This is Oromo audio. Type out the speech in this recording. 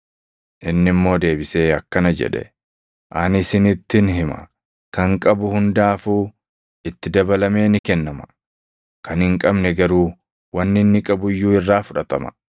“Inni immoo deebisee akkana jedhe; ‘Ani isinittin hima; kan qabu hundaafuu itti dabalamee ni kennama; kan hin qabne garuu wanni inni qabu iyyuu irraa fudhatama;